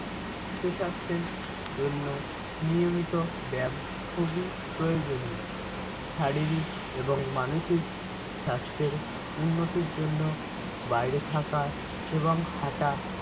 সুসাস্থের জন্য নিয়মিত ব্যাম খুবি প্রয়োজনীয়। শারীরিক এবং মানসিক স্বাস্থ্যের উন্নতির জন্য বাইরে থাকা এবং হাটা